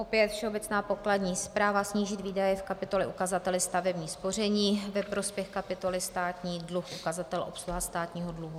Opět Všeobecná pokladní správa - snížit výdaje v kapitole ukazatele stavební spoření ve prospěch kapitoly Státní dluh, ukazatel obsluha státního dluhu.